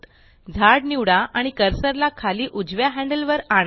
झाड निवडा आणि कर्सर ला खाली उजव्या हैंडल वर आणा